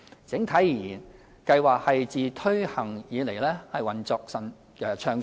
整體而言，計劃自推行以來運作暢順。